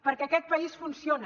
perquè aquest país funciona